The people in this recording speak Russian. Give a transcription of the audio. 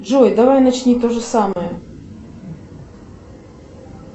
джой давай начни то же самое